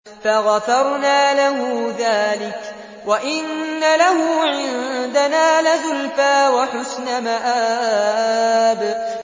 فَغَفَرْنَا لَهُ ذَٰلِكَ ۖ وَإِنَّ لَهُ عِندَنَا لَزُلْفَىٰ وَحُسْنَ مَآبٍ